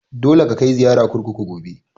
Dole ka kai ziyara kurkuku gobe!